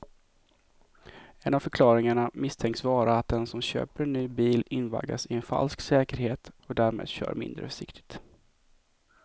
En av förklaringarna misstänks vara att den som köper en ny bil invaggas i en falsk säkerhet och därmed kör mindre försiktigt.